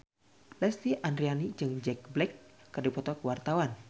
Lesti Andryani jeung Jack Black keur dipoto ku wartawan